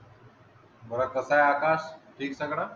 बरं कसा आहेस आकाश? ठीक ठाक ना?